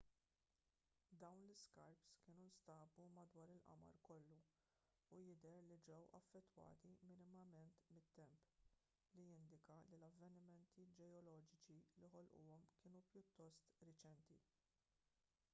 dawn l-iskarps kienu nstabu madwar il-qamar kollu u jidher li ġew affettwati minimament mit-temp li jindika li l-avvenimenti ġeoloġiċi li ħolquhom kienu pjuttost reċenti